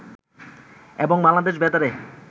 এবং বাংলাদেশ বেতারে